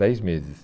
Dez meses.